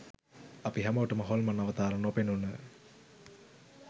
අපි හැමෝටම හොල්මන් අවතාර නොපෙනුන